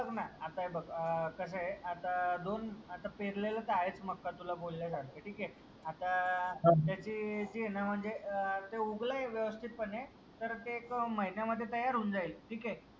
बघ ना आता हे बघ कसं आहे आता दोन आता पेरलेलच आहे मका तुला बोललेलं आहे. ठीक आहे. आता आह त्याची जीना म्हणजे ते उगलय व्यवस्थित पणे तर ते एक महिन्यामध्ये तयार होऊन जाईल ठीक आहे.